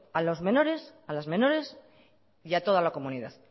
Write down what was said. a los menores a las menores y a toda la comunidad